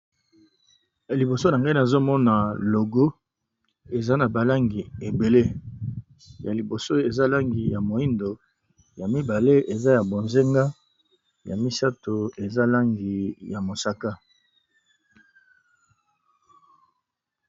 La liboso na ngai na zomona logo eza na balangi ebele, ya liboso eza langi ya moindo ya mibale eza ya bozenga, ya misato eza langi ya mosaka.